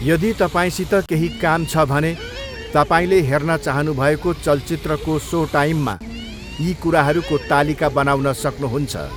यदि तपाईँसित केही काम छ भने तपाईँले हेर्न चाहनुभएको चलचित्रको सोटाइममा यी कुराहरूको तालिका बनाउन सक्नुहुन्छ।